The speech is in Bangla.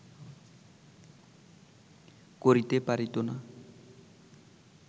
করিতে পারিত না